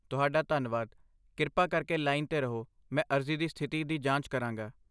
ਤੁਹਾਡਾ ਧੰਨਵਾਦ, ਕਿਰਪਾ ਕਰਕੇ ਲਾਈਨ 'ਤੇ ਰਹੋ, ਮੈਂ ਅਰਜ਼ੀ ਦੀ ਸਥਿਤੀ ਦੀ ਜਾਂਚ ਕਰਾਂਗਾ।